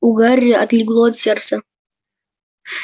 у гарри отлегло от сердца